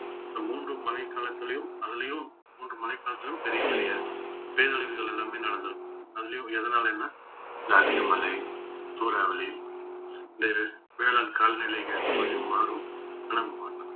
இந்த மூன்று மழைக்காலத்திலயும் அதுலயும் மூன்று மழைக்காலத்திலயும் பெரிய பெரிய பேரழிவுகள் எல்லாமே நடந்திருக்கும் அதுலயும் எதனாலன்னா இந்த அதிக மழை சூறாவளி லேறு~ வேளாண் காலநிலை ஏத்தமாறியும் மாறும் ஆன நமக்கு வந்து